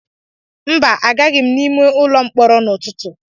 Mba, agaghị m n'ụlọ mkpọrọ n'ụtụtụ